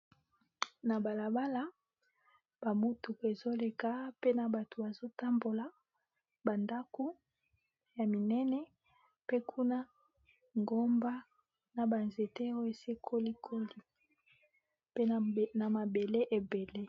Na balabala ba motuka ezoleka pe na bato bazotambola ba ndaku ya minene pe nkuna ngomba na ba nzete oyo esi ekoli koli pe na mabele ebele.